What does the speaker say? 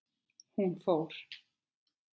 Hún fór.